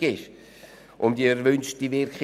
Aber Sie wissen, wie zuverlässig diese sein kann.